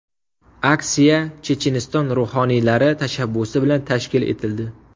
Aksiya Checheniston ruhoniylari tashabbusi bilan tashkil etildi.